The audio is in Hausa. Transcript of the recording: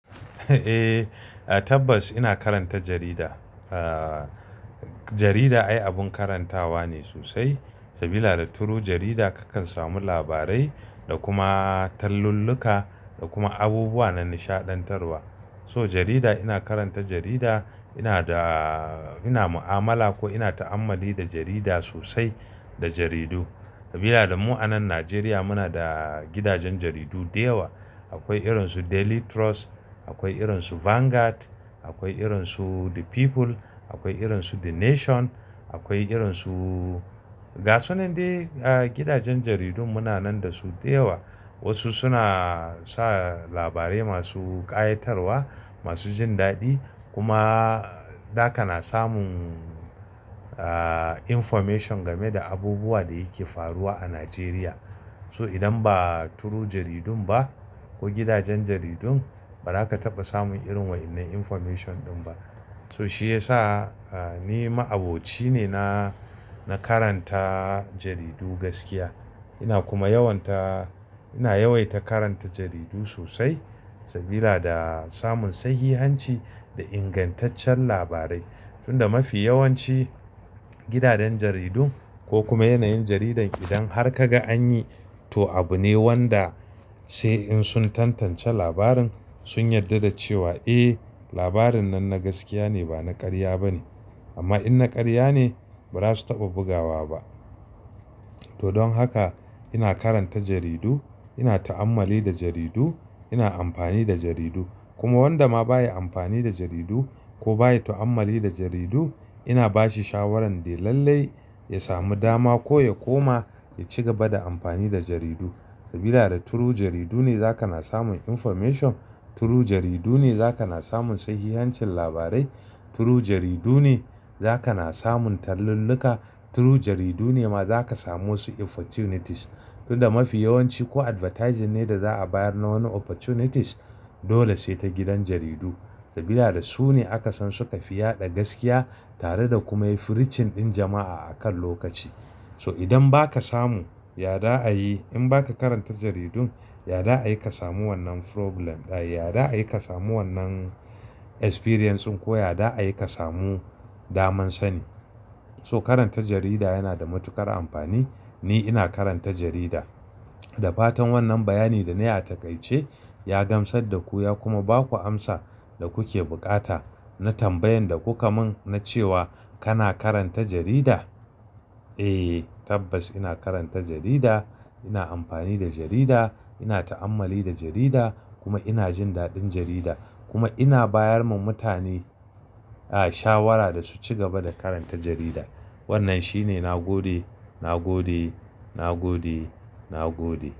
Eh, tabbas ina karanta jarida. Ah, jarida ai abun karantawa ne sosai. Sabida da turu jarida kakan samu labarai da kuma talluluka da kuma abubuwa na nishaɗantarwa. So jarida ina karanta jarida, ina da, ina mu'amala ko ina ta'ammali da jarida sosai da jaridu. Sabida da mu anan Najeriya muna da gidajen jaridu da yawa. Akwai irinsu Daily Trust, akwai irinsu Vanguard, akwai irinsu The People, akwai irinsu The Nation, akwai irinsu gasunan dai gidajen jaridun muna nan da su da yawa. Wasu suna sa labarai masu ƙayatarwa, masu jin daɗi. Kuma zaga na samun, ah, information game da abubuwa da yake faruwa a Najeriya. So idan ba turu jaridun ba ko gidajen jaridun, ba za ka taɓa samun irin wa'innen information din ba. So shi yasa ni ma'aboci ne na, na karanta jaridu gaskiya. Ina kuma yawanta, ina yawaita karanta jaridu sosai sabida da samun sahihanci da ingantaccen labarai. Tunda mafi yawanci gidajen jaridun ko kuma yanayin jaridan idan har ka ga an yi to abu ne wanda sai in sun tantance labarin sun yarda da cewa eh, labarin nan na gaskiya ne ba na ƙarya ba ne. Amma in na ƙarya ne, ba za su taɓa bugawa ba. To don haka ina karanta jaridu, ina ta'ammali da jaridu, ina amfani da jaridu. Kuma wanda ma baya amfani da jaridu ko baya ta'ammali da jaridu ina bashi shawaran de lallai ya sami dama ko ya koma ya ci gaba da amfani da jaridu. Sabida da turu jaridu ne za ka na samun information, turu jaridu ne za ka na samun sahihancin labarai, turu jaridu ne za ka na samun talluluka, turu jaridu ne ma za ka samu wasu opportunities. Tunda mafi yawanci ko advertising ne da za'a bayar na wani opportunities dole sai ta gidan jaridu. Sabida da su ne aka san suka fi yaɗa gaskiya tare da kuma yafi richen ɗin jama'a a kan lokaci. So idan ba ka samu, ya da a yi in ba ka karanta jaridun, ya da ayi ka samu wannan problem ɗaya, ya da ayi ka samu wannan experience in ko ya da ayi ka samu daman sani. So karanta jarida yana da matuƙar amfani. Ni ina karanta jarida. Da fatan wannan bayani da na yi a taƙaice ya gamsar da ku ya kuma ba ku amsa da kuke bukata na tambayan da kuka mun na cewa kana karanta jarida? Eh, tabbas ina karanta jarida, ina amfani da jarida, ina ta'ammali da jarida kuma ina jin daɗin jarida. Kuma ina bayar ma mutane, ah, shawara da su cigaba da karanta jarida. Wannan shine na gode, na gode, na gode, na gode.